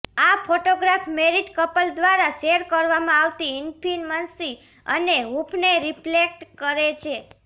આ photograph married couple દ્વારા share કરવામાં આવતી ઇન્ટિમસી અને હૂંફને રિફ્લેક્ટ કરે છે